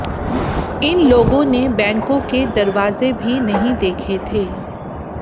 इन लोगों ने बैंकों के दरवाजे भी नहीं देखे थे